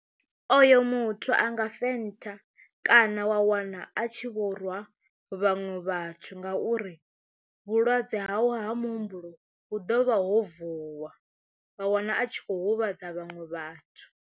Oyo muthu a nga fenṱha kana wa wana a tshi vho rwa vhaṅwe vhathu ngauri vhulwadze hau ha muhumbulo hu ḓovha ho vuwa wa wana a tshi kho huvhadza vhaṅwe vhathu.